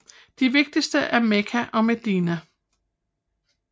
De vigtigste er Mekka og Medina